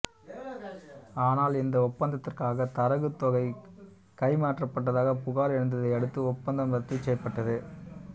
ஆனால் இந்த ஒப்பந்ததிற்காகத் தரகுத்தொகை கைமாற்றப்பட்டதாகப் புகார் எழுந்ததை அடுத்து ஒப்பந்தம் ரத்துசெய்யப்பட்டது